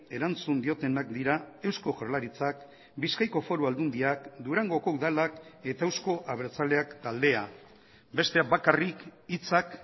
erantzun diotenak dira eusko jaurlaritzak bizkaiko foru aldundiak durangoko udalak eta euzko abertzaleak taldea besteak bakarrik hitzak